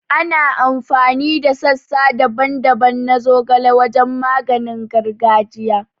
Ana amfani da sassa daban-daban na zogale wajen maganin gargajiya